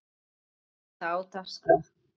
En er það á dagskrá?